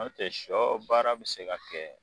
An tɛ shɔ baara bɛ se ka kɛ.